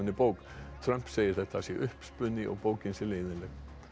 bók Trump segir að þetta sé uppspuni og bókin sé leiðinleg